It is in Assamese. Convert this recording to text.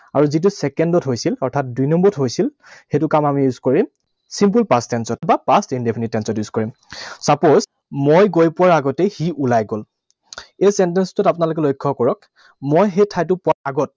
আৰু যিটো second ত হৈছিল, অৰ্থাৎ দুই নম্বৰত হৈছিল, সেইটো কাম আমি use কৰিম simple past tense ত বা past indefinite tense ত use কৰিম। Suppose, মই গৈ পোৱাৰ আগতেই সি ওলাই গল। এই sentence টোত আপোনালোকে লক্ষ্য কৰক মই সেই ঠাইতো পোৱা আগত